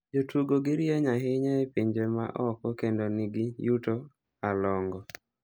Jotugo gi rieny ahinya e pinje ma oko kendo ni gi yuto a longo.